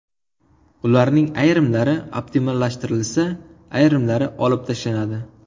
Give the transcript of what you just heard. Ularning ayrimlari optimallashtirilsa, ayrimlari olib tashlanadi.